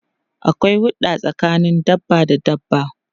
Akwai hurda tsakanin dabba da dabba.